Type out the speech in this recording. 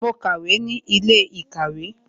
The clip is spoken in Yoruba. Mo ń kàwé ní ilé ìkàwé